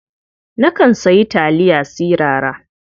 Nakan sayi taliya sirara.